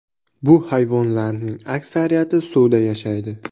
Bu hayvonlarning aksariyati suvda yashaydi.